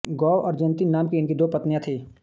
गो और जयन्ती नाम की इनकी दो पत्नियाँ थीं